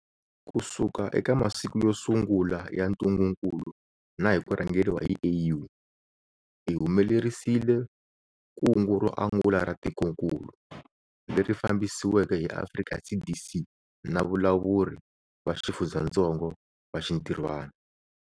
Kusuka eka masiku yo sungula ya ntungukulu na hi ku rhangeriwa hi AU, hi humelerisile kungu ro angula ra tikokulu, leri fambisiweke hi Afrika CDC na valawuri va xifundzatsongo va xintirhwana.